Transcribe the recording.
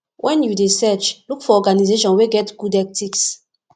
when you dey search look for organization wey get good ethics